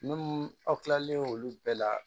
Minnu aw kilalen olu bɛɛ la